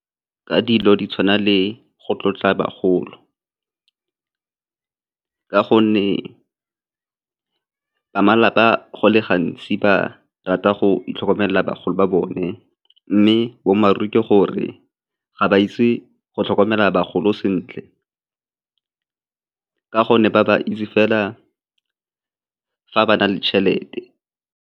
Ka dilo di tshwana le go tlotla bagolo, ka gonne ba malapa go le gantsi ba rata go itlhokomelela bagolo ba bone mme boammaaruri ke gore ga ba itse go tlhokomela bagolo sentle ka gonne ba ba itse fela fa ba na le tšhelete.